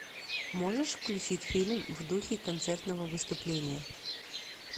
можешь включить фильм в духе концертного выступления